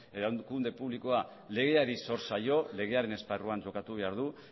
erakunde publikoa legeari zor zaio legearen esparruan jokatu behar du